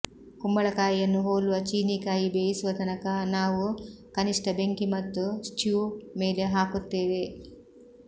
ಕುಂಬಳಕಾಯಿಯನ್ನು ಹೋಲುವ ಚೀನೀಕಾಯಿ ಬೇಯಿಸುವ ತನಕ ನಾವು ಕನಿಷ್ಟ ಬೆಂಕಿ ಮತ್ತು ಸ್ಟ್ಯೂ ಮೇಲೆ ಹಾಕುತ್ತೇವೆ